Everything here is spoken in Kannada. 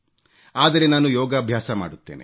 ಆದರೆ ನಾನು ಯೋಗಾಭ್ಯಾಸ ಮಾಡುತ್ತೇನೆ